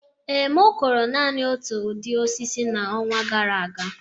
Ee, m kụrụ naanị otu ụdị osisi n'ọnwa gara aga